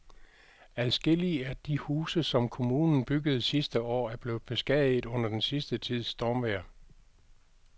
Adskillige af de huse, som kommunen byggede sidste år, er blevet beskadiget under den sidste tids stormvejr.